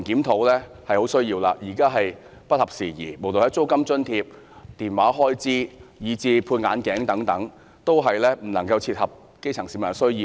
現有安排已不合時宜，租金津貼、電話開支，以至配眼鏡的開支等，一切均未能切合基層市民的需要。